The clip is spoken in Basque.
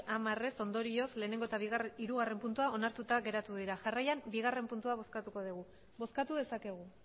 hamar ondorioz batgarrena eta hirugarrena puntua onartuta geratu dira jarraian bigarrena puntua bozkatuko dugu bozkatu dezakegu